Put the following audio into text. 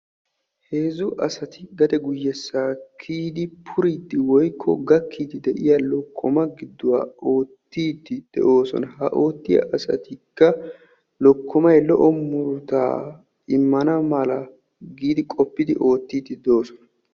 heezzu asatu gade guyyessa kiyidi puriddi woykko gakkidi de'iya lokkomma giduwaa oottiddi de'oosona; ha oottiyaa asatikka lokkomay lo"o muruta immana mala giidi qoppidi oottidi doosona.